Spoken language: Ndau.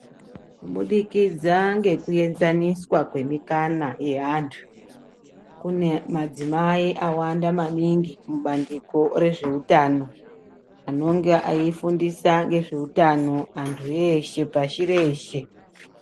Kubudikidza ngekuenzaniswa kwemikana yeantu, kune madzimai awanda maningi mubandiko rezveutano anonga eifundisa ngezveutano antu eshe pashi reshe.